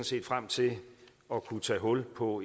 set frem til at kunne tage hul på